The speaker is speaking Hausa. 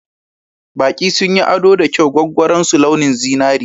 Baƙi sun yi ado da kyau gwaggwaron su launin zinari.